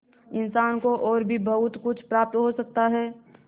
इंसान को और भी बहुत कुछ प्राप्त हो सकता है